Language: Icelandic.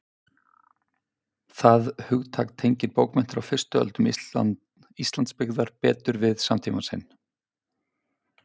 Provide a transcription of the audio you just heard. Það hugtak tengir bókmenntir á fyrstu öldum Íslandsbyggðar betur við samtíma sinn.